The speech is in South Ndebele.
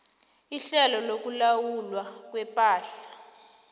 ihlelo lokulawulwa kwepahla